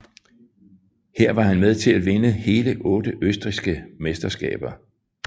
Her var han med til at vinde hele otte østrigske mesterskaber